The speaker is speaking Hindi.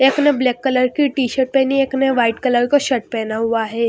एक ने ब्लैक कलर की टी_शर्ट पहनी एक ने व्हाइट कलर का शर्ट पहना हुआ है।